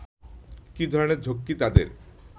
কী ধরনের ঝক্কি তাদের